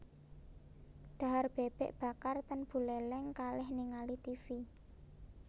Dhahar bebek bakar ten Buleleng kalih ningali tivi